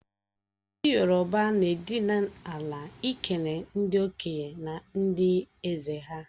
Ndi yoroba n'edinala ikele ndi okenye na ndi eze ha.